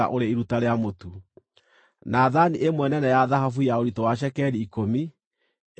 na thaani ĩmwe nene ya thahabu ya ũritũ wa cekeri ikũmi, ĩiyũrĩtio ũbumba;